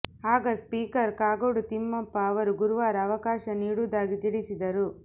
ಆಗ ಸ್ಪೀಕರ್ ಕಾಗೋಡು ತಿಮ್ಮಪ್ಪ ಅವರು ಗುರುವಾರ ಅವಕಾಶ ನೀಡುವುದಾಗಿ ತಿಳಿಸಿದರು